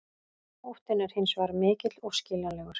Óttinn er hins vegar mikill og skiljanlegur.